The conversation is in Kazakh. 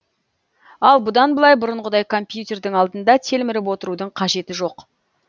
ал бұдан былай бұрынғыдай компьютердің алдында телміріп отырудың қажеті жоқ